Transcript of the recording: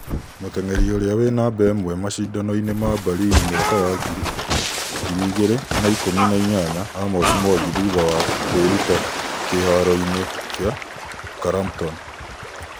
Mũtengeri ũria we namba ĩmwe mashidanoinĩ ma Berlin mwaka wa ngĩri igĩri na ikũmi na ĩnyanya Amos Mwangi thutha wa kwĩruta kĩharoĩnĩ kia karampton.